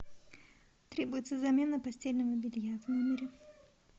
требуется замена постельного белья в номере